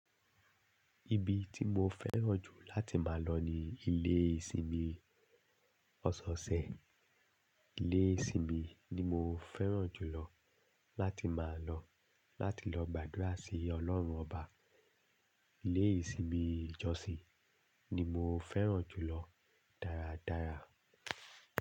Ibi tí mo fẹ́ràn jù láti máa lọ ni ilé ìsinmi ọsọọsẹ̀. Ilé ìsinmi ni mo fẹ́ràn jù lọ láti máa lọ láti lọ gbàdúrà sí Ọlọ́run ọba. Ilé ìsinmi Jọ́sìì ni mo fẹ́ràn jù lọ dáradára.